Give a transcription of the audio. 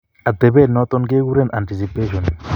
Atepet noton ke kuren anticipation.